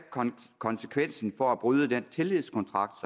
konsekvensen for at bryde den tillidskontrakt